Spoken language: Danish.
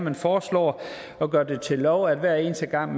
at foreslå at gøre det til lov at hver eneste gang